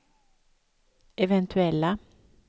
eventuella